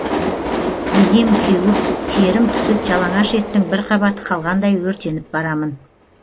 денем кеуіп терім түсіп жалаңаш еттің бір қабаты қалғандай өртеніп барамын